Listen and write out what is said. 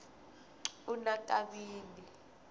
unakabini